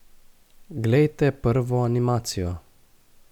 Glejte prvo animacijo.